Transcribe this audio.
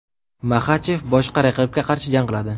Maxachev boshqa raqibga qarshi jang qiladi.